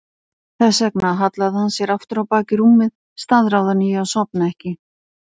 Þess vegna hallaði hann sér aftur á bak í rúmið, staðráðinn í að sofna ekki.